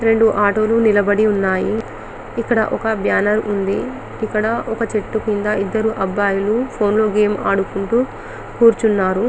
రెండు ఆటోలు నిలబడి ఉన్నాయి ఇక్కడ ఓక బ్యానర్ ఉంది ఇక్కడ ఒక చెట్టు కింద ఇద్దరు అబ్బయిలు ఫోన్ లో గేమ్ ఆడుకుంటూ కూర్చున్నారు